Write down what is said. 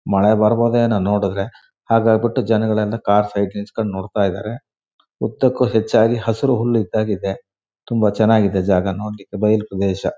ಮಳೆ ಬರಬಹುದೇನೋ ನೋಡಿದ್ರೆ ಹಾಗಾಗ್ಬಿಟ್ಟು ಜನ ಗಳೆಲ್ಲ ಕಾರ್ ಸೈಡ್ ನಿಲ್ಲಿಸ್ಕೊಂಡ್ ನೋಡ್ತಾ ಇದ್ದಾರೆ ಉದ್ದಕ್ಕೂ ಹೆಚ್ಚಾಗಿ ಹಸಿರು ಹುಲ್ಲು ಇದ್ದಹಾಗೆ ಇದೆ ತುಂಬಾ ಚೆನ್ನಾಗಿದೆ ಜಾಗ ನೋಡ್ಲಿಕ್ಕೆ ಬಯಲು ಪ್ರದೇಶ.